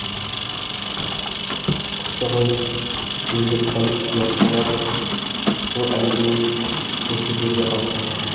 қыздығой ел жұрттан ұят болады бұл әңгімең осы жерде қалсын